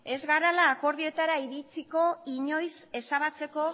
ez gara akordioetara iritsiko inoiz ezabatzeko